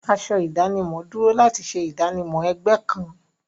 Aṣọ ìdánimọ̀ dúró láti ṣe ìdánimọ̀ ẹgbẹ́ kan.